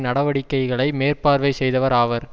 நடவடிக்கைகளை மேற்பார்வை செய்தவர் ஆவர்